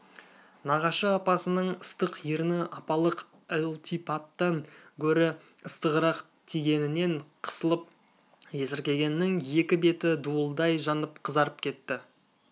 нағашы апасының ыстық ерні апалық ылтипаттан гөрі ыстығырақ тигенінен қысылып есіркегеннің екі беті дуылдай жанып қызарып кетті